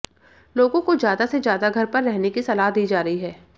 लोगों को ज्यादा से ज्यादा घर पर रहने की सलाह दी जा रही है